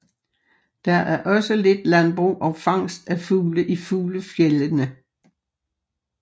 Der er også lidt landbrug og fangst af fugle i fuglefjeldene